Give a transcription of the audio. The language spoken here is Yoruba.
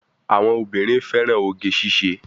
Àwọn obìnrin fẹ́ràn oge ṣíṣe.